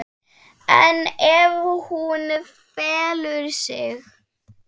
En ef hún felur sig?